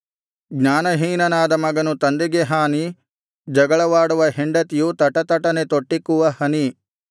ಜ್ಞಾನಹೀನನಾದ ಮಗನು ತಂದೆಗೆ ಹಾನಿ ಜಗಳವಾಡುವ ಹೆಂಡತಿಯು ತಟತಟನೆ ತೊಟ್ಟಿಕ್ಕುವ ಹನಿ